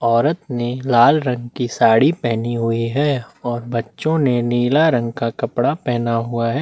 औरत ने लाल रंग की साड़ी पहनी हुई है और बच्चों ने नीला रंग का कपड़ा पहना हुआ है।